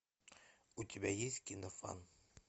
у тебя есть кино фан